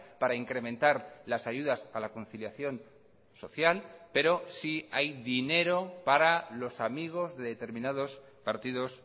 para incrementar las ayudas a la conciliación social pero sí hay dinero para los amigos de determinados partidos